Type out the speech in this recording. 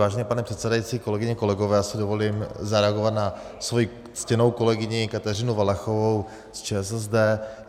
Vážený pane předsedající, kolegyně, kolegové, já si dovolím zareagovat na svoji ctěnou kolegyni Kateřinu Valachovou z ČSSD.